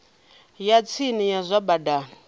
ya tsini ya zwa badani